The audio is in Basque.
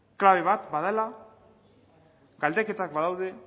klabe bat badela galdeketak badaude